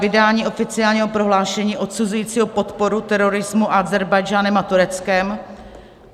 Vydání oficiálního prohlášení odsuzujícího podporu terorismu Ázerbájdžánem a Tureckem.